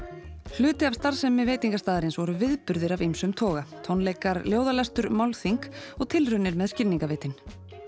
hluti af starfsemi veitingarstaðarins voru viðburðir af ýmsum toga tónleikar ljóðalestur málþing og tilraunir með skilningarvitin